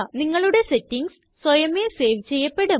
നിങ്ങളുടെ സെറ്റിംഗ്സ് സ്വയമേ സേവ് ചെയ്യപ്പെടും